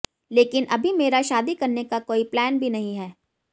लेकिन अभी मेरा शादी करने का कोई प्लान भी नहीं है